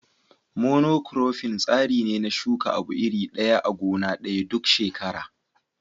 Mono kurofin tsari ne na shuka abu iri ɗaya a gona ɗaya duk shekara.